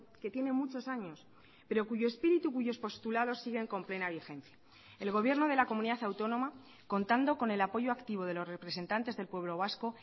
que tiene muchos años pero cuyo espíritu cuyos postulados siguen con plena vigencia el gobierno de la comunidad autónoma contando con el apoyo activo de los representantes del pueblo vasco